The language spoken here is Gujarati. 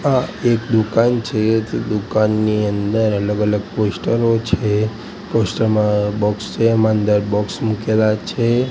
આ એક દુકાન છે જે દુકાનની અંદર અલગ અલગ પોસ્ટરો છે પોસ્ટર માં બોક્સ છે એમાં અંદર બોક્સ મુકેલા છે.